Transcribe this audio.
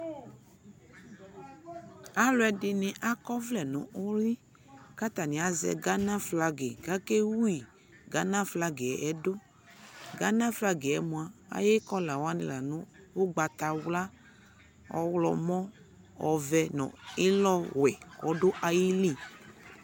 Aluɛ dini akɔ vlɛ nu uli kata ni azɛ Gana flagi kakɛ wui Gana flagi yɛ duGana flagi yɛ mua ayʋ kɔlawani la nu ugbata wla, ɔɣlɔmɔ, ɔvɛ nu ilɔ wɛ ɔdu ayi li